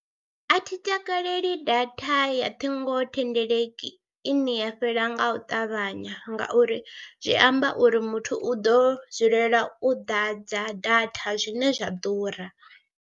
A thi takaleli data ya thingothendeleki ine ya fhela nga u ṱavhanya ngauri zwi amba uri muthu u ḓo dzulela u ḓadza data zwine zwa ḓura.